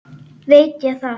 Veit ég það.